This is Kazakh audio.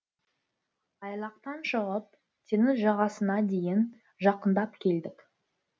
айлақтан шығып теңіз жағасына дейін жақындап келдік